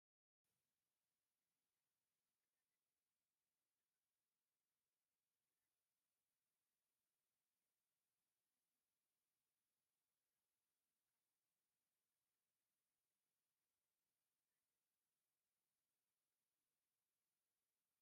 እዚ ታቦት ብካህናትን ምእመናንን ብዓብዪ ፅምብል ተዓጂቡ ዝኸደሉ ትርኢት እዩ፡፡ እዚ ዕጀባ ካብ ኣኽሱም ማርያም ፅዮን ተበጊሱ ናብ በዓል መኽበሪ ኣደባባይ ዝግበር ዘሎ ጉዕዞ ይመስል፡፡